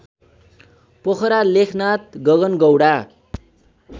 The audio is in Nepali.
पोखरा लेखनाथ गगनगौंडा